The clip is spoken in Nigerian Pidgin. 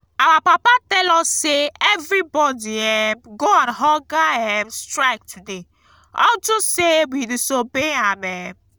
our papa tell us say everybody um go on hunger um strike today unto say we disobey am um